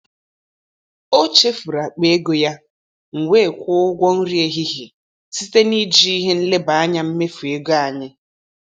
Ọ chefuru akpa ego ya, m wee kwụọ ụgwọ nri ehihie site na iji ihe nleba anya mmefu ego anyị.